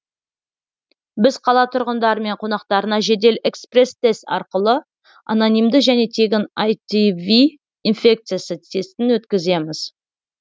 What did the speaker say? біз қала тұрғындары мен қонақтарына жедел экспресс тест арқылы анонимді және тегін аитв инфекциясы тестін өткіземіз